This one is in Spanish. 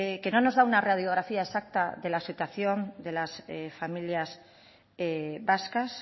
que no nos da una radiografía exacta de la situación de las familias vascas